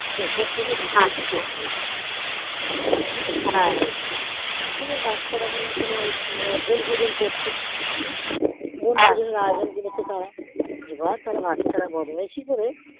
ওপর থেকে নিচে হয়েছে পড়েছি এবার বাচ্ছারা মনেহয় কোনো কোনো ভোজন করছে হম এবার তারা বাঁচার বদমাইশি করে